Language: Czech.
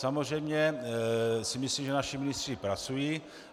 Samozřejmě si myslím, že naši ministři pracují.